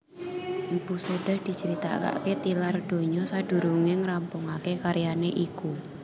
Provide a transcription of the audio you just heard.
Mpu Sedah dicritakaké tilar donya sadurungé ngrampungaké karyané iku